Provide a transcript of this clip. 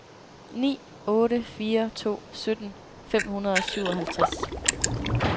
ni otte fire to sytten fem hundrede og syvoghalvtreds